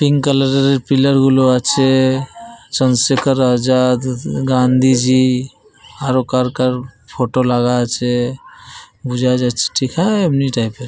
Pink colour এর pillar গুলো আছে। চন্দ্রশেখর রাজা গান্ধীজি আরো কার কার ফটো লাগা আছে বুঝা যাচ্ছে। হা ঠিক হায় এমনি টাইপ এর।